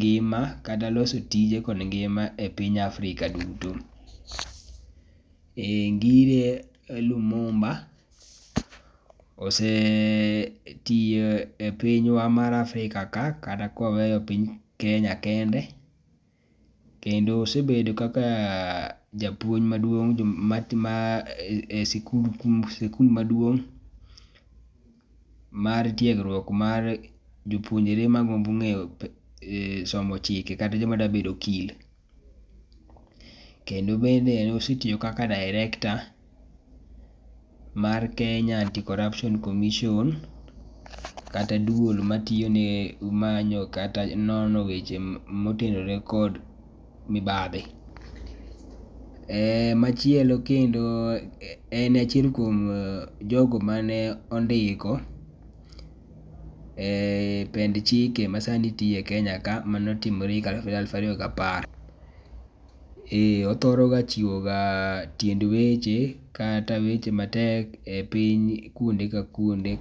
gi ma kata loso tije kod ngima e piny Afrika duto. Ngire lumumba osetiyo e pinywa mar Afrika ka kata ka waweyo piny Kenya kende. Kendo osebedo kaka japuoj ma e skul maduong mar tiegruok mar jopunonjre ma dwa somo chik kata jo ma dwa bedo okil. Kendo bende ne osetiyo kaka director mar kenya anti-corruption commission, kata duol ma tiyo ne manyo kata nono weche ma otenre kod mibadhi. Machielo en achiel kuom jogo ma ne ondiko e pend chike ma sa ni tiyo e Kenya kae mane otimre e higa mar aluf ariyo ga apar. Ee othore ga chiwo ga tiend weche kata weche matek e piny kuonde ka kuonde.